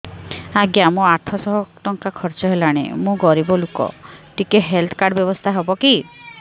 ଆଜ୍ଞା ମୋ ଆଠ ସହ ଟଙ୍କା ଖର୍ଚ୍ଚ ହେଲାଣି ମୁଁ ଗରିବ ଲୁକ ଟିକେ ହେଲ୍ଥ କାର୍ଡ ବ୍ୟବସ୍ଥା ହବ କି